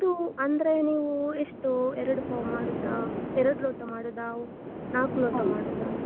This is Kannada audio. ಒಂದು ಅಂದ್ರೆ ನೀವು ಎಷ್ಟು ಎರಡು ಪಾವ್ ಮಾಡುದಾ, ಎರಡು ಲೋಟ ಮಾಡುದಾ, ನಾಲ್ಕು ಲೋಟ ಮಾಡುದಾ.